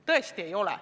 Tõesti ei ole.